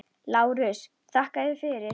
LÁRUS: Þakka yður fyrir.